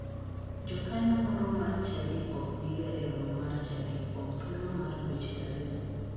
Jakanyo moro mar chadi ok biga e romo mar chadi kuom thuolo mar dweche ariyo.